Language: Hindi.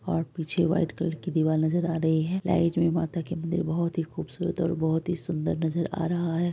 और पीछे व्हाइट कलर की दिवाल नजर आ रही है। लाइट में माता का मदिर और भी खूबसूरत और बहुत सुंदर नजर आ रहा है।